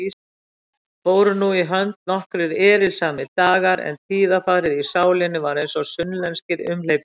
Fóru nú í hönd nokkrir erilsamir dagar, en tíðarfarið í sálinni var einsog sunnlenskir umhleypingar.